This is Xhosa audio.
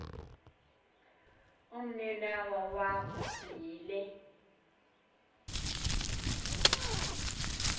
umninawa wakho yile